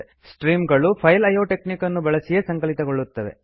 stream ಗಳು file IO technique ಅನ್ನು ಬಳಸಿಯೇ ಸಂಕಲಿತಗೊಳ್ಳುತ್ತವೆ